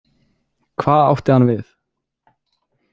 Hvað átti hann við?